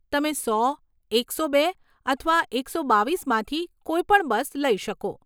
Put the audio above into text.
તમે સો, એકસો બે, અથવા એકસો બાવીસમાંથી કોઈ પણ બસ લઇ શકો.